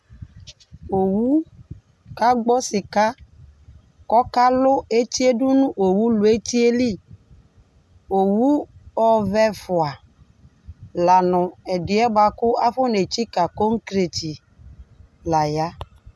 Owu kagbɔ sɩka, kʋ ɔkalʋ eti yɛ dʋ nʋ owu lʋ eti yɛ li, owu ɔvɛ ɛfʋa, la nʋ ɛdɩ yɛ bʋa kʋ akɔnetsikǝ kɔkreti la ya